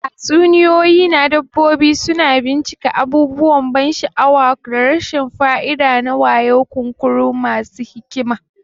Tatsuniyoyi na dabbobi suna bincika abubuwan ban sha'awa da rashin fa'ida na wayo, kunkuru masu hikima.